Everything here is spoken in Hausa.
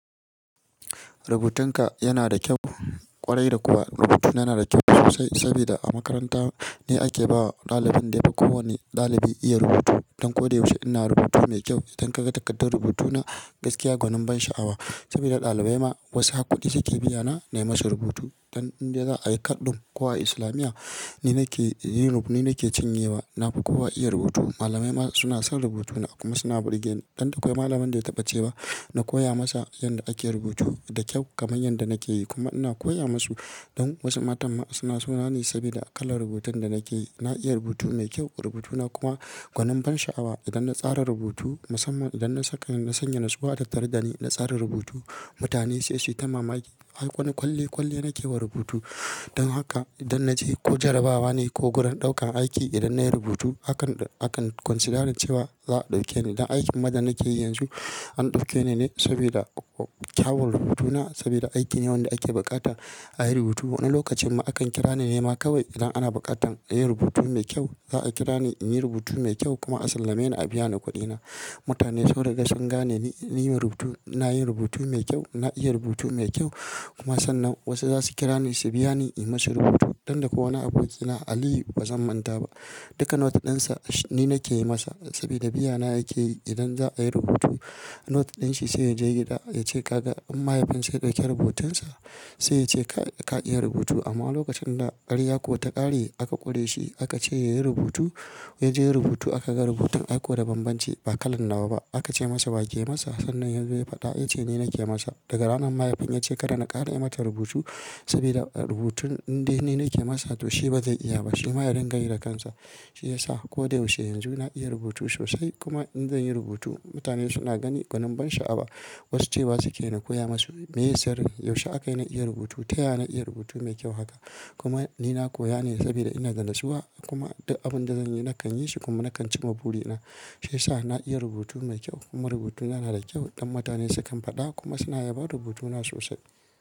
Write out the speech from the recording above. Rubutun ka yana da kyau, ƙwarai da kuwa rubutuna yana da kyau sosai sabida a makaranta ni ake bawa ɗalibin da yafi kowane ɗalibi iya rubutu. Don ko da yaushe ina rubutu mai kyau, idan ka ga takardar rubutu na gaskiya gwanin ban sha'awa saboda ɗalibai ma wasu har kuɗi suke biyana na yi musu rubutu. Don in dai zai a yi ka do ko a Islamiyya ni nake yin rubu, ni nake cinye wa na ba kowa iya rubutu. Malamai ma suna son rubutuna kuma suna burge ni. Dan da kwai malamin da ya taɓa cewa na koya masa yanda ake rubutu da kyau kamar yadda nake yi. Kuma ina koya masu don wasu matan ma suna so na ni sabida kalan rubutun da nake yi. Na iya rubutu mai kyau, rubutuna kuma gwanin ban sha'awa. Idan na tsara rubutu musamman idan na saka na sanya nasuwa da tattare ɗani na tsara rubutu, mutane sai su ta mamaki. Har wani kwale kwale nake wa rubutu. Don haka idan na je ko jarabawa ne ko gurin ɗaukan aiki idan nayi rubutu hakan akan konsidarar cewa za a ɗauke ni. Don aikin ma da nake yi yanzu an ɗauke ni ne saboda kyawun rubutuna saboda aiki ne wanda ake buƙata ayi rubutu. Wani lokacin ma akan kira ni ne ma kawai idan ana buƙatan inyi rubutu mai kyau za a kira ni in yi rubutu mai kyau kuma a sallame ni a biyana kuɗina. Mutane sun riga sun gane ni niman rubutu, ina yin rubutu mai kyau, na iya rubutu mai kyau kuma sannan wasu zasu kira ni su biya ni in masu rubutu. Don da ko wani abokina Aliyu ba zan manta ba. Duka notes dinsa ni nake masa sabida biya na yake yi idan za ayi rubutu note din shi sai ya je gida ya ce toh kaga in mahaifinsa ya dauki rubutun sa sai ya ce ka ka iya rubutu amma lokacin da ƙarya ko ta ƙare aka ƙure shi aka ce ya yi rubutu, ya je ya yi rubutu aka ga rubutun aki da bambanci ba kalan nawa ba. Aka ce masa wake masa sannan yazo ya fada yace ni na ke masa daga ranar sai mahaifin yace kada na kara yi mata rubutu sabida rubutu indai ni ke masa toh ba zai iya ba shima ya dinga yi da kansa. Shi ya sa ko da yaushe yanzu na iya rubutu sosai kuma in zan yi rubutu mutane suna gani gwanin ban sha'awa. Wasu cewa suke na koya masu miye sirin yaushe akayi na iya rubutu ta ya na iya rubutu mai kyau haka? Kuma ni na koya ne sabida ina da nasuwa kuma duk abunda zan yi nakan yi shi kuma na kan ci ma buri na. Shi ya sa na iya rubutu mai kyau kuma rubutuna yana da kyau dan mutane su kan faɗa kuma suna yabon rubutuna sosai.